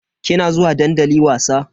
Kina zuwa dandali wasa?